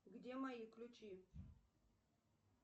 где мои ключи